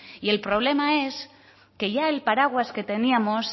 y el problema en que ya el paraguas que teníamos